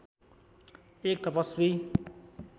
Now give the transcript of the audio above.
एक तपस्वी